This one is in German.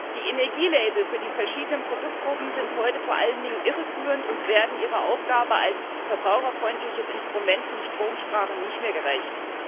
Die Energielabel für die verschiedenen Produktgruppen sind heute vor allen Dingen irreführend und werden ihrer Aufgabe als verbraucherfreundliches Instrument zum Stromsparen nicht mehr gerecht.